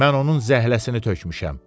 Mən onun zəhləsini tökmüşəm.